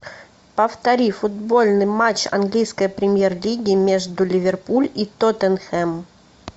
повтори футбольный матч английской премьер лиги между ливерпуль и тоттенхэм